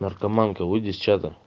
наркоманка выйди с чата